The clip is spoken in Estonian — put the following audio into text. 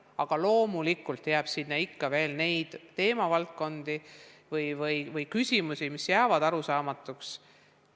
Aga loomulikult on ikka veel neid teemavaldkondi või küsimusi, mis jäävad arusaamatuks.